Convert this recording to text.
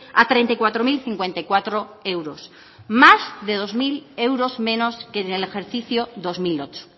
a treinta y cuatro mil cincuenta y cuatro euros más de dos mil euros menos que en el ejercicio dos mil ocho